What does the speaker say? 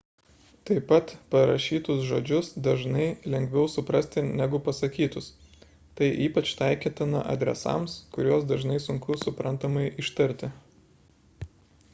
taip pat parašytus žodžius dažnai lengviau suprasti negu pasakytus tai ypač taikytina adresams kuriuos dažnai sunku suprantamai ištarti